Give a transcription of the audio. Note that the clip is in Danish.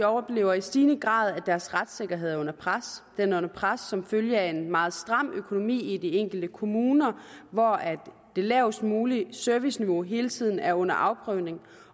oplever i stigende grad at deres retssikkerhed er under pres den er under pres som følge af en meget stram økonomi i de enkelte kommuner hvor det lavest mulige serviceniveau hele tiden er under afprøvning